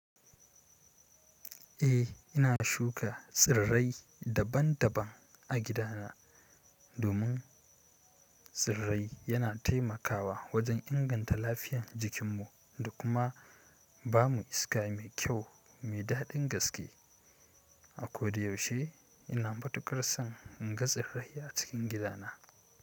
Eh, ina shuka tsirrai daban-daban a gidana domin tsirrai yana taimakawa wajen inganta lafiyar jikin mu da kuma bamu iska mai kyau, mai dadin gaske. A ko da yaushe ina matukar son inga tsirrai a cikin gidana.